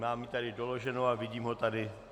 Mám to tady doloženo a vidím ho tady.